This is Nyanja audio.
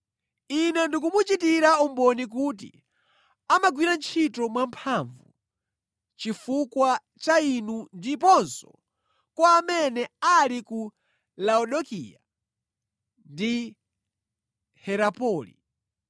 Ine ndikumuchitira umboni kuti amagwira ntchito mwamphamvu chifukwa cha inu ndiponso kwa amene ali ku Laodikaya ndi Herapoli.